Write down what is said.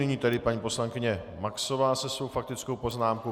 Nyní tedy paní poslankyně Maxová se svou faktickou poznámkou.